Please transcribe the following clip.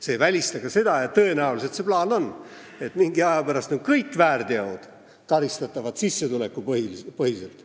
See ei välista ka seda – tõenäoliselt see plaan on –, et mingi aja pärast on kõik väärteod karistatavad sissetulekupõhiselt.